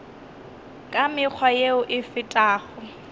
ka mekgwa yeo e fetago